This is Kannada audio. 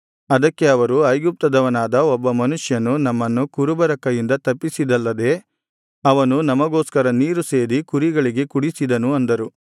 ಅದಕ್ಕೆ ಅವರು ಐಗುಪ್ತದವನಾದ ಒಬ್ಬ ಮನುಷ್ಯನು ನಮ್ಮನ್ನು ಕುರುಬರ ಕೈಯಿಂದ ತಪ್ಪಿಸಿದಲ್ಲದೆ ಅವನು ನಮಗೋಸ್ಕರ ನೀರು ಸೇದಿ ಕುರಿಗಳಿಗೆ ಕುಡಿಸಿದನು ಅಂದರು